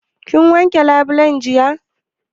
Kin wanke labulen jiya?